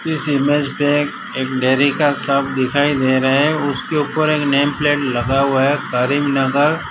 इस इमेज पे एक एक डेयरी का सब दिखाई दे रहा है उसके ऊपर एक नेम प्लेट लगा हुआ है करीमनगर।